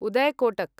Uday Kotak